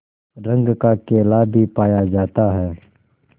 रंग का केला भी पाया जाता है